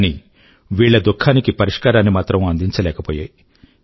కానీ వీళ్ళ దుఃఖానికి పరిష్కారాన్ని మాత్రం అందించలేకపోయాయి